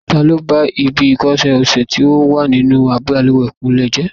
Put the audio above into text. Ta ló ba ibi ìko ọṣẹ sì tó wà nínú bàlùwẹ̀ kúnlé jẹ́?